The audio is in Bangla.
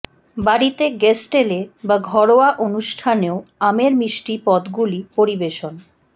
বাড়িতে গেস্ট এলে বা ঘরোয়া অনুষ্ঠানেও আমের মিষ্টি পদগুলি পরিবেশন